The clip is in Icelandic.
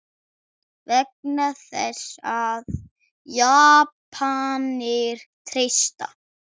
Vegna þess, að Japanir treysta